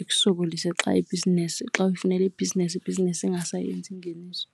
ikusokolise xa ibhizinesi, xa uyifunela ibhizinesi, ibhizinesi ingasayenzi ingeniso.